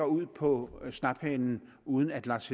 ud på snaphanen uden at lars